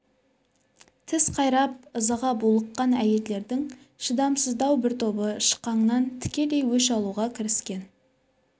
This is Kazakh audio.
тіс қайрап ызаға булыққан әйелдердің шыдамсыздау бір тобы шықаңнан тікелей өш алуға кіріскен